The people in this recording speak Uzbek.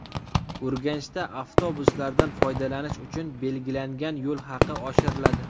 Urganchda avtobuslardan foydalanish uchun belgilangan yo‘l haqi oshiriladi.